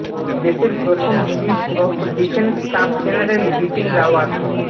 দেশের প্রথম chief of defence staff general Bipin Rawat